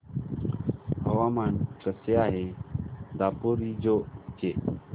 हवामान कसे आहे दापोरिजो चे